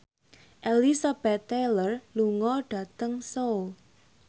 Elizabeth Taylor lunga dhateng Seoul